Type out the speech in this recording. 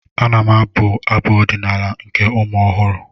Ana m abụ Abụ ọdịnaala nke ụmụ ọhụrụ